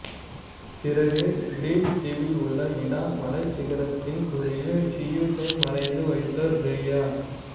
பிறகு கிரீட் தீவில் உள்ள இடா மலைச்சிகரத்தின் குகையில் சியுசை மறைத்து வைத்தார் ரேயா